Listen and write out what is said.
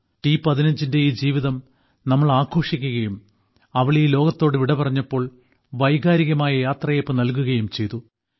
ടി15 ന്റെ ഈ ജീവിതം നമ്മൾ ആഘോഷിക്കുകയും അവൾ ഈ ലോകത്തോട് വിടപറഞ്ഞപ്പോൾ വൈകാരികമായ യാത്രയയപ്പ് നൽകുകയും ചെയ്തു